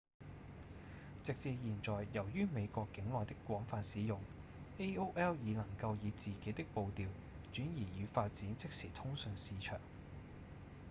直至現在由於美國境內的廣泛使用 aol 已能夠以自己的步調轉移與發展即時通訊市場